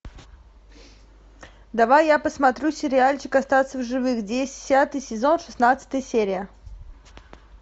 давай я посмотрю сериальчик остаться в живых десятый сезон шестнадцатая серия